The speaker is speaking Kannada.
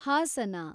ಹಾಸನ